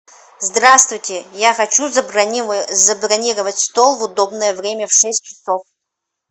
здравствуйте я хочу забронировать стол в удобное время в шесть часов